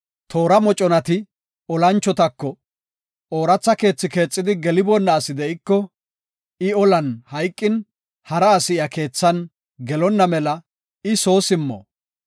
Toora moconati olanchotako, “Ooratha keethi keexidi geliboonna asi de7iko, I olan hayqin, hara asi iya keethan gelonna mela I soo simmo.